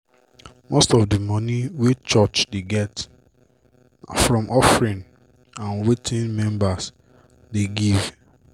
most of d moni wey church dey get na from offering and wetin members dey give.